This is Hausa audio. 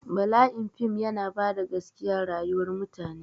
Bala'in fim yana bada gaskiya rayuwar mutane